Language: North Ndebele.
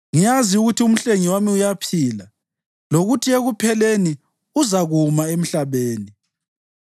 Ngiyazi ukuthi uMhlengi wami uyaphila, lokuthi ekupheleni uzakuma emhlabeni.